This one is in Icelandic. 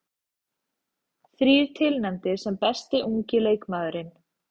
Þrír tilnefndir sem besti ungi leikmaðurinn